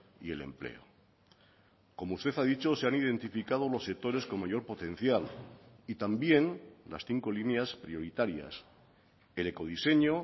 y el empleo como usted ha dicho se han identificado los sectores con mayor potencial y también las cinco líneas prioritarias el ecodiseño